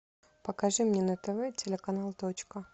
покажи мне на тв телеканал точка